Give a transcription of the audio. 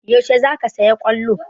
Yaushe zaka saya ƙwallo?